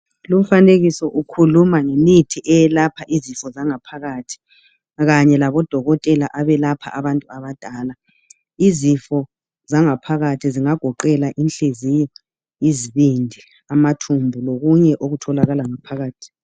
Lumfanekiso ukhuluma ngemithi eyelapha izifo zangaphakathi kanye labodokotela abelapha abantu abadala, izifo zangaphakathi zingagoqela inhliziyo, izibindi, amathumbu lokunye okutholakala ngaphakathi.